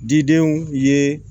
Didenw ye